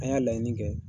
An y'a laɲini kɛ